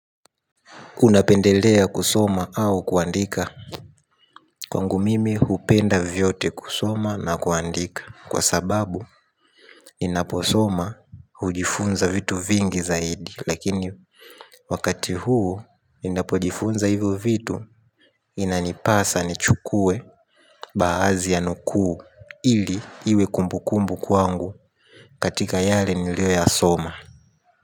Unapendelea kusoma au kuandika. Kwangu mimi hupenda vyote kusoma na kuandika kwa sababu ninaposoma hujifunza vitu vingi zaidi. Lakini wakati huu ninapojifunza hivyo vitu inanipasa ni chukue badhi ya nukuu ili iwe kumbukumbu kwangu katika yale nilio ya soma.